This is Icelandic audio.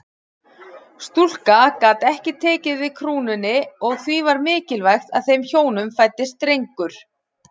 Stúlka gat ekki tekið við krúnunni og því var mikilvægt að þeim hjónum fæddist drengur.